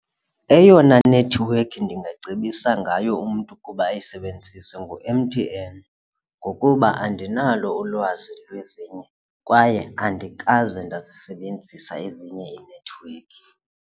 Eyona nethiwekhi ndingacebisa ngayo umntu ukuba ayisebenzise ngu-M_T_N ngokuba andinalo ulwazi lwezinye kwaye andikaze ndazisebenzisa ezinye iinethiwekhi.